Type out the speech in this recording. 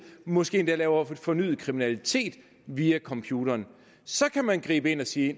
måske endda begår fornyet kriminalitet via computeren så kan man gribe ind og sige